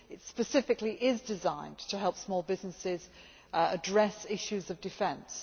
It is specifically designed to help small businesses address issues of defence.